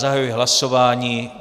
Zahajuji hlasování.